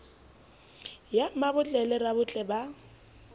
ya mmabotle le rabotle ba